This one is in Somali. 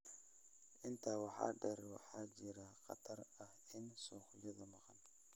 Intaa waxaa dheer, waxaa jira khatar ah in suuqyada maqan